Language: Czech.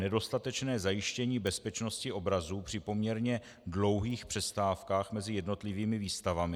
- nedostatečné zajištění bezpečnosti obrazů při poměrně dlouhých přestávkách mezi jednotlivými výstavami;